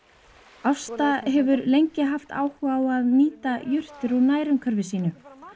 Ásta hefur lengi haft áhuga á að nýta jurtir úr nærumhverfi sínu